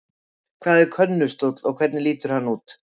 Hvað er könnustóll og hvernig lítur hann út?